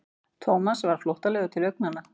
Thomas varð flóttalegur til augnanna.